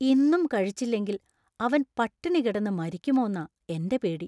ഇന്നും കഴിച്ചില്ലെങ്കിൽ അവൻ പട്ടിണി കിടന്ന് മരിക്കുമോന്നാ എന്‍റെ പേടി.